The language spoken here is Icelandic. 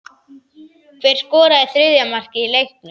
Hver skoraði þriðja markið í leiknum?